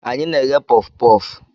Anyị na-eghe puff puff.